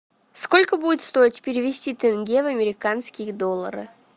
сколько будет стоить перевести тенге в американские доллары